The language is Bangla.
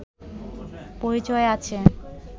পরিচয় আছে